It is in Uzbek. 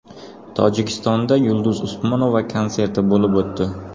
Tojikistonda Yulduz Usmonova konserti bo‘lib o‘tdi.